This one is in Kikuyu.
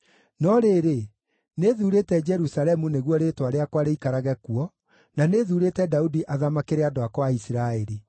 No rĩrĩ, nĩthuurĩte Jerusalemu nĩguo Rĩĩtwa rĩakwa rĩikarage kuo, na nĩ thuurĩte Daudi athamakĩre andũ akwa a Isiraeli.’